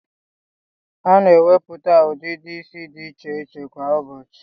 A na enweputa udidi isi di iche iche kwa ubochi